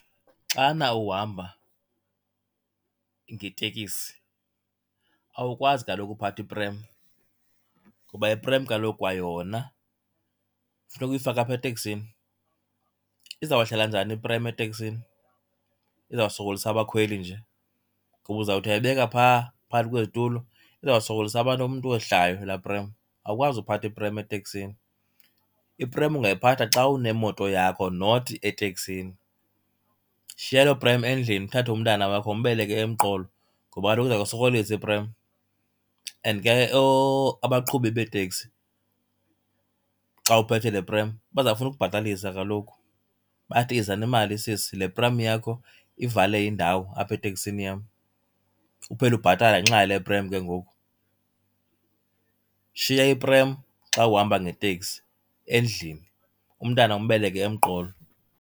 Xana uhamba ngetekisi awukwazi kaloku uphatha iprem, kuba iprem kaloku kwayona kufuneka uyifake apha eteksini. Izawuhlala njani iprem eteksini? Izawusokolisa abakhweli nje, ngoba uzawuthi uyayibeka phaa phakathi kwezitulo izawusokolisa abantu, umntu owehlayo laa prem. Awukwazi ukuphatha iprem eteksini. Iprem ungayiphatha xa unemoto yakho not eteksini. Shiya loo prem endlini uthathe umntana wakho umbeleke emqolo ngoba kaloku iza kusokolisa iprem. And ke abaqhubi beeteksi xa uphethe le prem bazawufuna ukubhatalisa kaloku. Bathi, yiza nemali sisi, le prem yakho ivale indawo apha eteksini yam. Uphele ubhatala ngenxa yale prem ke ngoku. Shiya iprem xa uhamba ngeteksi endlini, umntana umbeleke emqolo.